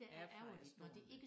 Airfryer stående